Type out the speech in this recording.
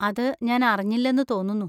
അത് ഞാൻ അറിഞ്ഞില്ലെന്നു തോന്നുന്നു.